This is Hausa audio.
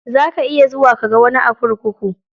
Za ka iya zuwa kaga wani a kurkuku.